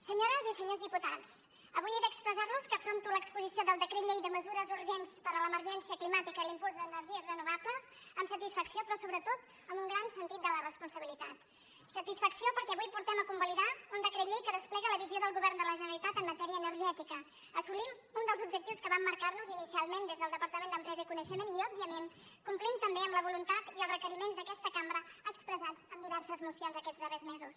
senyores i senyors diputats avui he d’expressar los que afronto l’exposició del decret llei de mesures urgents per a l’emergència climàtica i l’impuls d’energies renovables amb satisfacció però sobretot amb un gran sentit de la responsabilitat satisfacció perquè avui portem a convalidar un decret llei que desplega la visó del govern de la generalitat en matèria energètica assolim un dels objectius que vam marcar nos inicialment des del departament d’empresa i coneixement i òbviament complim també amb la voluntat i els requeriments d’aquesta cambra expressats en diverses mocions aquests darrers mesos